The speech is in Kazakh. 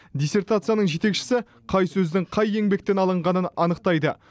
диссертацияның жетекшісі қай сөздің қай еңбектен алынғанын анықтайды